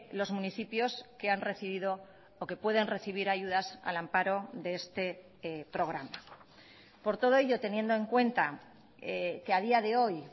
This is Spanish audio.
los municipios que han recibido o que pueden recibir ayudas al amparo de este programa por todo ello teniendo en cuenta que a día de hoy